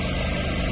Dayaq boşalır.